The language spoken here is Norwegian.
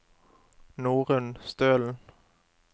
Norunn Stølen